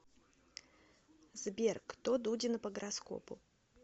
сбер кто дудина по гороскопу